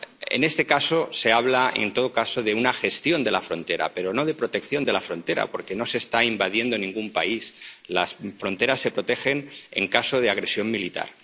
En este caso, se habla, en todo caso, de una gestión de la frontera, pero no de protección de la frontera, porque no se está invadiendo ningún país las fronteras se protegen en caso de agresión militar.